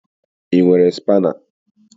Ị nwere spaana?